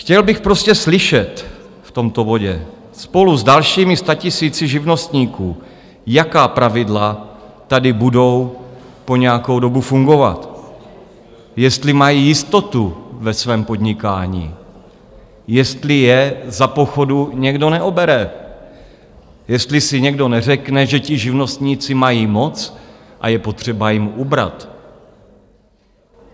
Chtěl bych prostě slyšet v tomto bodě spolu s dalšími statisíci živnostníků, jaká pravidla tady budou po nějakou dobu fungovat, jestli mají jistotu ve svém podnikání, jestli je za pochodu někdo neobere, jestli si někdo neřekne, že ti živnostníci mají moc a je potřeba jim ubrat.